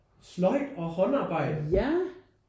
Sløjd og håndarbejde